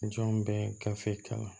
Jɔn bɛ gafe kalan